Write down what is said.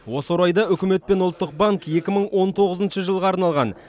осы орайда үкімет пен ұлттық банк екі мың он тоғызыншы жылға арналған